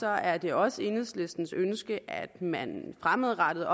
er det også enhedslistens ønske at man fremadrettet